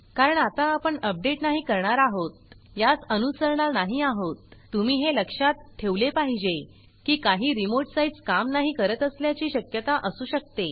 कारण आता आपण अपडेट नाही करणार आहोत यास अनुसरणार नाही आहोत तुम्ही हे लक्षात ठेवले पाहिजे की काही रिमोट साइट्स काम नाही करत असल्याची शक्यता असु शकते